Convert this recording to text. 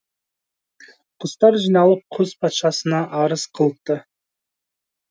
құстар жиналып құс патшасына арыз қылыпты